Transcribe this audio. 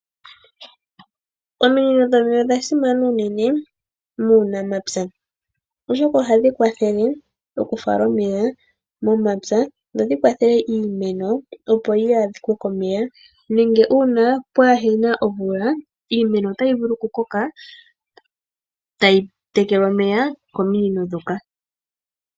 Ominino dhomeya odhasimana unene muunamapya oshoka ohadhi kwathele okufala omeya momapya dho dhikwathele iimeno opo yaadhike komeya, nenge uuna pwaahena omvula iimeno otayi vulu okukoka tayi tekelwa omeya kominino dhoka.